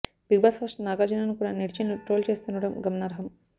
big boss host నాగార్జునను కూడా నెటిజన్లు ట్రోల్ చేస్తుండటం గమనార్హం